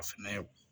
A fɛnɛ